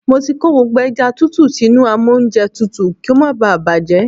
Mo ti kó gbogbo ẹja tútù sínú amóúnjẹtutù kí ó má bá à bàjẹ́.